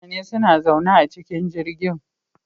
Mutane suna zaune a cikin jirgin